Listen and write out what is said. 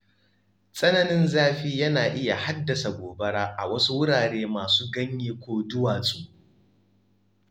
Tsananin zafi yana iya haddasa gobara a wasu wurare masu ganye ko duwatsu.